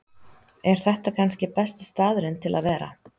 Er þetta kannski besti staðurinn til að vera?